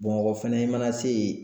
Bamakɔ fɛnɛ i mana se yen